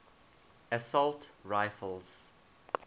assault rifles